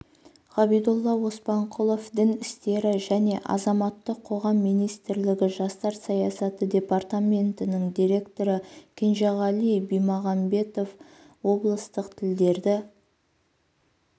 ғабидолла оспанқұлов дін істері және азаматтық қоғам министрлігі жастар саясаты департаментінің директоры кенжеғали бимағанбетов облыстық тілдерді